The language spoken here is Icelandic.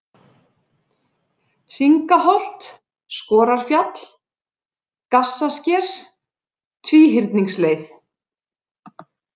Hringaholt, Skorarfjall, Gassasker, Tvíhyrningsleið